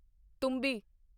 ਤੁੰਬੀ